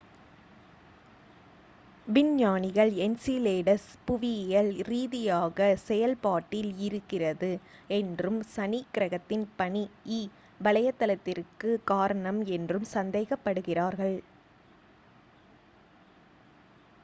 விஞ்ஞானிகள் என்சிலேடஸ் புவியியல் ரீதியாக செயல் பாட்டில் இருக்கிறது என்றும் சனி கிரகத்தின் பனி இ வளையத்திற்கு காரணம் என்றும் சந்தேகப் படுகிறார்கள்